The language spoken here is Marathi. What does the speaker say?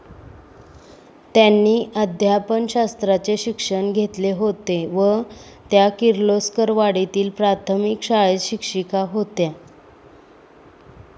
त्यांनी अध्यापनशास्त्राचे शिक्षण घेतले होते व त्या किर्लोस्करवाडीतील प्राथमिक शाळेत शिक्षिका होत्या.